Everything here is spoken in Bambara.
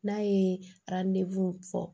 N'a ye fɔ